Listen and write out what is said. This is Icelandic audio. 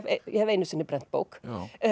ég hef einu sinni brennt bók